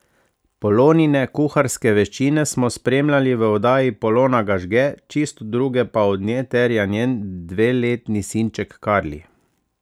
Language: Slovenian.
Polonine kuharske veščine smo spremljali v oddaji Polona ga žge, čisto druge pa od nje terja njen dveletni sinček Karli.